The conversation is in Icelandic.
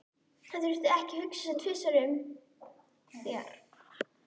Hann þurfti því ekki að hugsa sig tvisvar um þegar